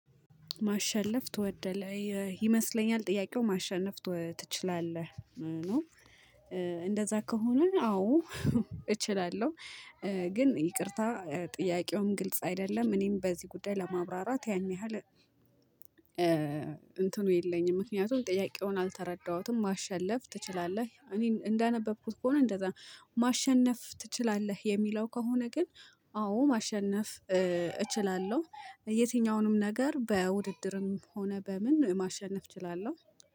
ማሸነፍ ትወደለህ? ይመስለኛል ጥያቄው ማሸነፍ ትችላለህ ነው። እንደዛ ከሆነ አዎ። እችላለሁ። ግን ይቅርታ ጥያቄውን ግልጽ አይደለም። እኔም በዚህ ጉዳይ ለማብራራት ያንያህል እንትኑ የለኝም። ምክንያቱም ጥያቄውን አልተረዳሁትም። ማሸነፍ ትችላለህ እኔ እንዳነበብኩት ከሆነ እንደዛ ማሸነፍ ትችላለህ የሚለው ከሆነ ግን አዎ ማሸነፍ እችላለሁ። የትኛውንም ነገር በውድድርም ሆነ በምን ማሸነፍ እችላለሁ።